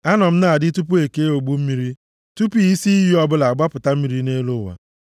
Anọ m na-adị tupu e kee ogbu mmiri, tupu isi iyi ọbụla agbapụta mmiri nʼelu ụwa,